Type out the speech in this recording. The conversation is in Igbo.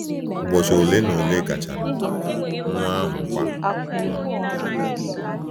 Ụbọchị ole na ole gachara, nwa ahụkwa nwụrụ.